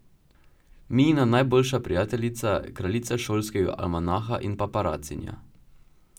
Mijina najboljša prijateljica, kraljica šolskega almanaha in paparacinja.